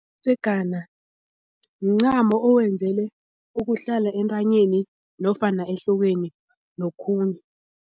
Umdzegana mncamo owenzelwe ukuhlala entanyeni nofana ehlokweni nokhunye.